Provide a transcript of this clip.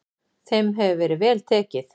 Þeim hefur verið vel tekið.